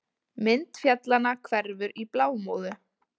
Mynd fjallanna hverfur í blámóðu.